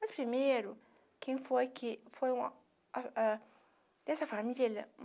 Mas, primeiro, quem foi que foi a a dessa família?